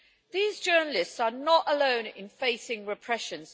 These journalists are not alone in facing repression.